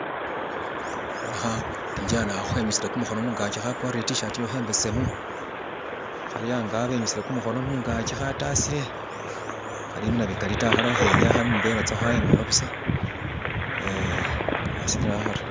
Boona khakijana akha henyusile kumuhono mungaki hakwarire e'tishati iyaho imbesemu, hali ango henyusile kumuhono mungaki khatasile hali mu nabikali ta hali hahenyaya hali mumbela tsaho emola busa hasilile awo haryo